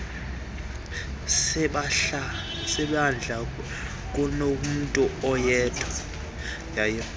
sebandla kunomntu oyedwa